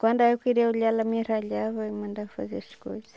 Quando eu queria olhar, ela me ralhava e me mandava fazer as coisas.